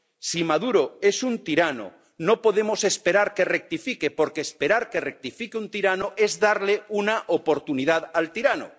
Si Maduro es un tirano, no podemos esperar que rectifique, porque esperar que rectifique un tirano es darle una oportunidad al tirano.